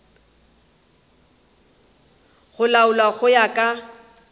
go laolwa go ya ka